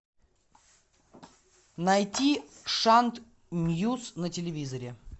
найти шант мьюз на телевизоре